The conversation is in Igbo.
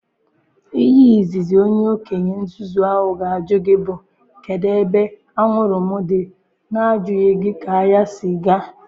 Ihe Izizi onye okenye nzuzu ahụ ga-ajụ gị bụ kedu ebe anwuru m dị na-ajụghị gị ka ahịa si ga.